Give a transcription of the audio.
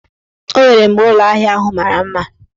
O nwere mgbe ụlọahịa ahụ mara mma.